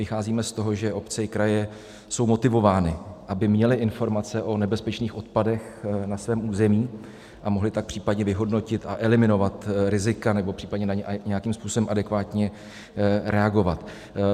Vycházíme z toho, že obce i kraje jsou motivovány, aby měly informace o nebezpečných odpadech na svém území, a mohly tak případně vyhodnotit a eliminovat rizika nebo případně na ně nějakým způsobem adekvátně reagovat.